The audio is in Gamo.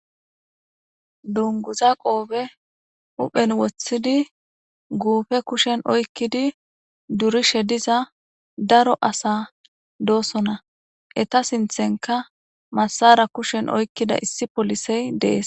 Dunguza qoobe uphen woththidi guufe kushen oykkidi durishe diza daro asa doosona eta sinthenka masara kushen oykkida issi polisey dees.